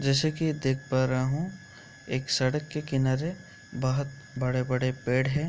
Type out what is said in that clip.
जैसे के देख पा रहा हूँ एक सड़क के किनारे बोहोत बड़े-बड़े पेड़ है।